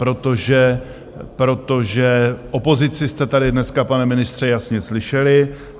Protože opozici jste tady dneska, pane ministře, jasně slyšeli.